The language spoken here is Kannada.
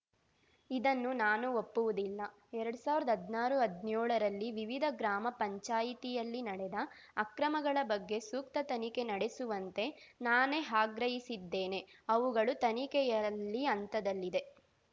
ಇದನ್ನು ನಾನು ಒಪ್ಪುವುದಿಲ್ಲ ಎರಡ್ ಸಾವಿರ್ದಾ ಹದ್ನಾರುಹದ್ನೇಳರಲ್ಲಿ ವಿವಿಧ ಗ್ರಾಮ ಪಂಚಾಯಿತಿಯಲ್ಲಿ ನಡೆದ ಅಕ್ರಮಗಳ ಬಗ್ಗೆ ಸೂಕ್ತ ತನಿಖೆ ನಡೆಸುವಂತೆ ನಾನೇ ಆಗ್ರಹಿಸಿದ್ದೇನೆ ಅವುಗಳು ತನಿಖೆಯಲ್ಲಿ ಹಂತದಲ್ಲಿದೆ